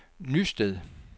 Nysted